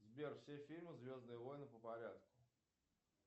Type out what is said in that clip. сбер все фильмы звездные войны по порядку